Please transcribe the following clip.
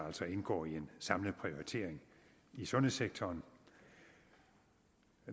indgå i en samlet prioritering i sundhedssektoren